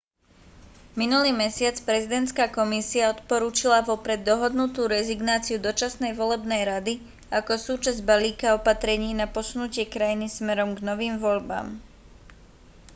minulý mesiac prezidentská komisia odporučila vopred dohodnutú rezignáciu dočasnej volebnej rady ako súčasť balíka opatrení na posunutie krajiny smerom k novým voľbám